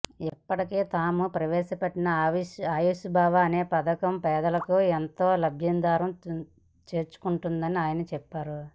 ఇప్పటికే తాము ప్రవేశపెట్టిన ఆయుష్మాన్భవ పథకం పేదలకు ఎంతో లబ్ధి చేకూర్చుతోందని ఆయన చెప్పారు